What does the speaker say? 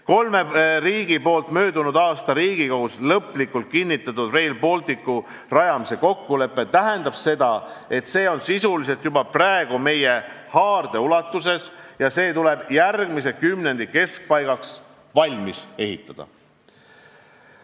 Kolme riigi poolt möödunud aastal Riigikogus lõplikult kinnitatud Rail Balticu rajamise kokkulepe tähendab seda, et see on sisuliselt juba praegu meie haardeulatuses ja trass tuleb järgmise kümnendi keskpaigaks valmis ehitada.